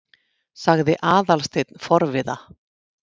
sagði Aðalsteinn forviða.